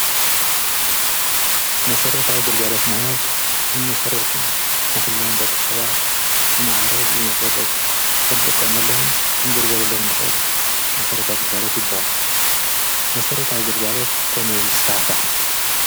መሠረት ኣው ገልጋረት ማህለት ብመሠረቱ ንዂላን ደ ኽሰባት ብመዓረ ብመሠረት ኽንጥቆምሎምን ክንግድገለሎም ንኽእል መሠረት ኣውጕልጋለት ይበሃሉ መሠረት ኣውገልጋረት ከመይ ስፋዕፋሕ?